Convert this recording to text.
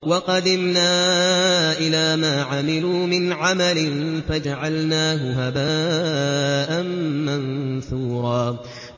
وَقَدِمْنَا إِلَىٰ مَا عَمِلُوا مِنْ عَمَلٍ فَجَعَلْنَاهُ هَبَاءً مَّنثُورًا